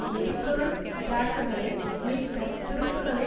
எரிபொருள் டிராக்குகளை மீட்கத் துருப்புக்களை